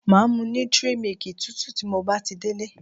Màá mu 'nutri milk' tútù tí mo bá ti délé